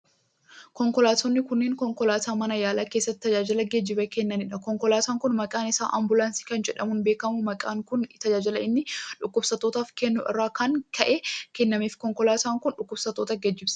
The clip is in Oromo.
Konkolaattonni kunneen, konkolaattota mana yaalaa keessatti tajaajila geejibaa kennanii dha. Konkolaataan kun maqaan isaa ambulaansii kan jedhamuun beekamu, maqaan kun tajaajila inni dhukkubsattootaaf kennuu irraa kan ka'e kannameef. Konkolaataan kun, dhukkubsattoota geejibsiisa.